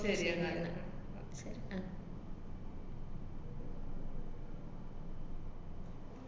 ശരി എന്നാല്.